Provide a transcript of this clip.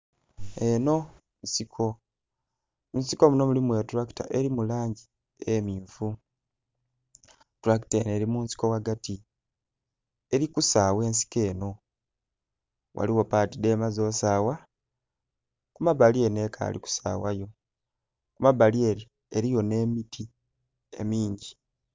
Enho nsiko, munsiko munho mulimu etulakita eri mulangi emmyufu, tulakita nho eri munsiko ghagati erikusagha ensiko enho ghaligho pati dhemaze osagha kumabbali enho ekali kusaghayo, kumabbali ere eriyo nhemiti emingi.